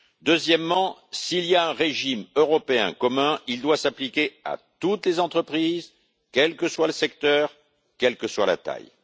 Deuxièmement, s'il y a un régime européen commun, il doit s'appliquer à toutes les entreprises, quel que soit le secteur, quelle que soit la taille.